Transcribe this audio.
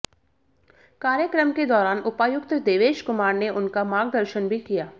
कार्यक्रम के दौरान उपायुक्त देवेश कुमार ने उनका मार्गदर्शन भी किया